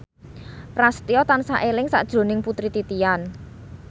Prasetyo tansah eling sakjroning Putri Titian